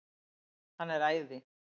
Hann er æði.